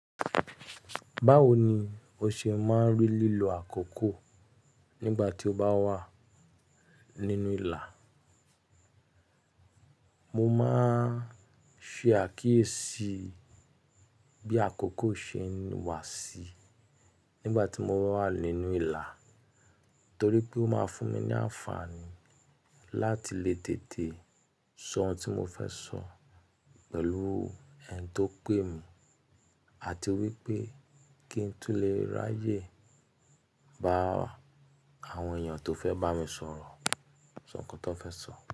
Báwo ni o ṣe máa ń rí lílo àkókò nígbà tí o bá wà nínú ìlà? Mo máa ń ṣe àkíyèsí bí àkókò ṣe ń wà sí nígbà tí mo wà nínú ìlà torí pé ó máa fún mi ní àǹfààní láti lè tètè sọ ohun tí mo fẹ́ sọ pẹ̀lú ẹni tó pè mí àti wípé kí n tó lè ráyè bá àwọn èèyàn tó fẹ́ bá mi sọ̀rọ̀ sọ nǹkan tó fẹ́ sọ.